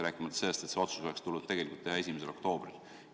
Rääkimata sellest, et see otsus oleks tulnud teha 1. oktoobril.